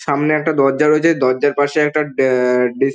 সামনে একটা দরজা রয়েছে দরজার পাশে একটা ড্যে-এ-এ ডিস ।